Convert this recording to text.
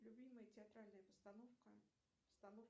любимая театральная постановка